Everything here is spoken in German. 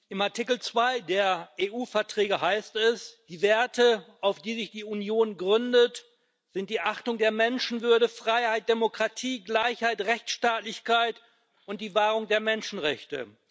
Im Artikel 2 der EU-Verträge heißt es Die Werte, auf die sich die Union gründet, sind die Achtung der Menschenwürde, Freiheit, Demokratie, Gleichheit, Rechtsstaatlichkeit und die Wahrung der Menschenrechte.